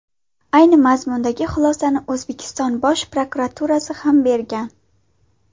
Ayni mazmundagi xulosani O‘zbekiston Bosh prokuraturasi ham bergan.